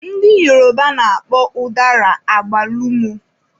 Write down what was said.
Ndị Yoruba na-akpọ ụdara agbalumọ.